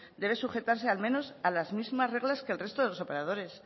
debe sujetarse al menos a las mismas reglas que el resto de los operadores